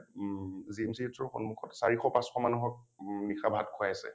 ম GMCH ৰ সন্মুখত চাৰিশ পাঁচশ মানুহক ম নিশা ভাত খুৱাইছে ।